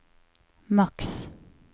maks